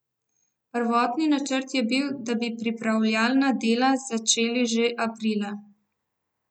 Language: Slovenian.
Prvotni načrt je bil, da bi pripravljalna dela začeli že aprila.